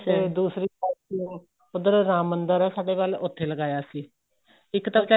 ਤੇ ਦੂਸਰੀ ਵਾਰੀ ਉੱਧਰ ਰਾਮ ਮੰਦਿਰ ਏ ਸਾਡੇ ਵੱਲ ਉੱਧਰ ਲਗਾਇਆ ਸੀ ਇੱਕ ਤਾਂ